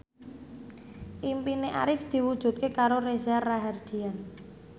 impine Arif diwujudke karo Reza Rahardian